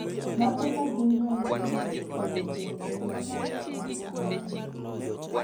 Mage magin ranyisi mag Spinocerebellar ataxia ang'wen